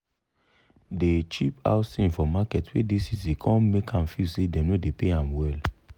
de cheap house thing for market wey dey city com make ahm feel say dem no dey pay ahm well.